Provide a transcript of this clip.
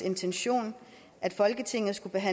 integrationen